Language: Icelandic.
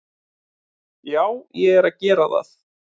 Já, ég er að gera það.